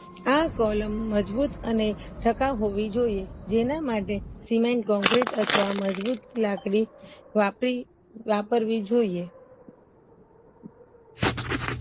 આ કોલમ મજબૂત અને ટકાવ હોવી જોયે જેના માટે સિમેન્ટ કોન્ક્રીટ અથવા મજબૂત વાપરી વાપરવી જોયે